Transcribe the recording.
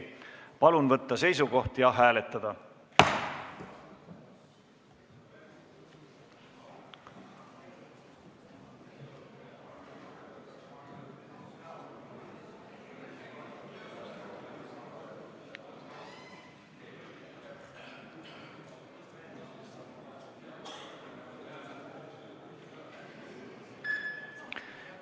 Palun võtta seisukoht ja hääletada!